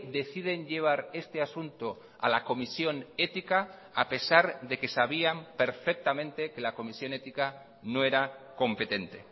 deciden llevar este asunto a la comisión ética a pesar de que sabían perfectamente que la comisión ética no era competente